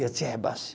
Eu te rebaixo.